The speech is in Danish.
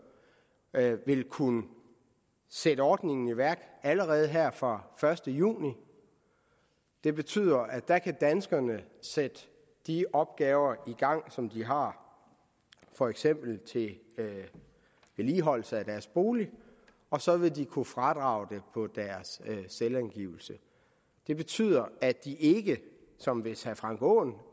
vil kunne sætte ordningen i værk allerede her fra første juni det betyder at der kan danskerne sætte de opgaver i gang som de har for eksempel vedligeholdelse af deres bolig og så vil de kunne fradrage det på deres selvangivelse det betyder at de ikke som hvis herre frank aaen